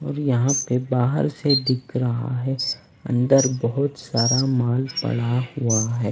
यहां पे बाहर से दिख रहा है अंदर बहुत सारा माल पड़ा हुआ है।